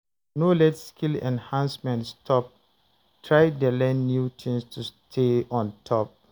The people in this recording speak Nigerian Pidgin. No let skill enhancement stop, try dey learn new things to stay on top.